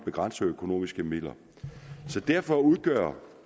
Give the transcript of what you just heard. begrænsede økonomiske midler derfor udgør